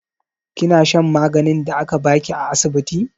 Kina shan maganin da aka ba ki a asibiti?